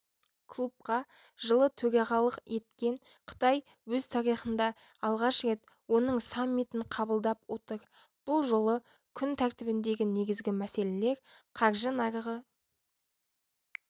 клубқа жылы төрағалық еткен қытай өз тарихында алғаш рет оның саммитін қабылдап отыр бұл жолы күн тәртібіндегі негізгі мәселелер қаржы нарығы